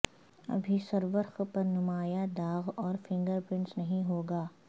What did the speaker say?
ابھی سرورق پر نمایاں داغ اور فنگر پرنٹس نہیں ہو گا